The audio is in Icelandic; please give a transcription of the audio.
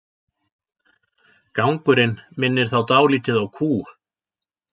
Gangurinn minnir þá dálítið á kú.